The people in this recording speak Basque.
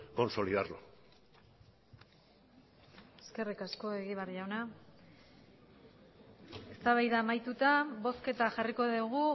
consolidarlo eskerrik asko egibar jauna eztabaida amaituta bozketa jarriko dugu